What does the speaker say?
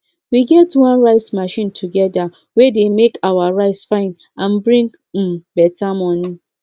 we get one rice machine together wey dey make our rice fine and bring um better money